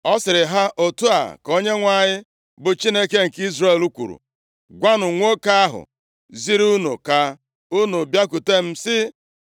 Ọ sịrị ha, “Otu a ka Onyenwe anyị, bụ Chineke nke Izrel, kwuru: Gwanụ nwoke ahụ ziri unu ka unu bịakwutem, sị